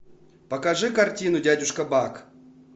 покажи картину дядюшка бак